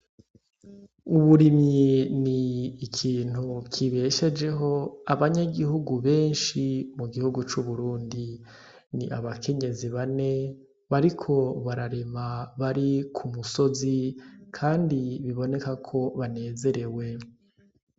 Uburimyi ni ikintu kibeshejeho abanyagihugu benshi mu gihugu c'uburundi ni abakenyezi bane bariko bararema bari ku musozi, kandi biboneka ko banezerewe.